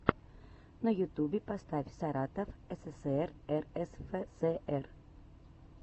на ютубе поставь саратов ссср рсфср